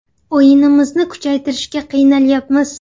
O‘yinimizni kuchaytirishga qiynalyapmiz.